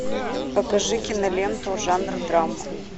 покажи киноленту жанр драма